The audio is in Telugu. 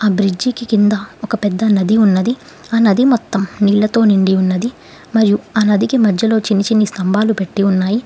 ఆ బ్రిడ్జికి కింద ఒక పెద్ద నది ఉన్నది ఆ నది మొత్తం నీళ్లతో నిండి ఉన్నది మరియు చిన్ని చిన్ని స్తంభాలు పెట్టి ఉన్నాయి.